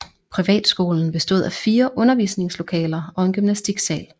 Privatskolen bestod af fire undervisningslokaler og en gymnastiksal